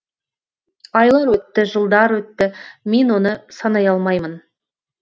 айлар өтті жылдар өтті мен оны санай алмаймын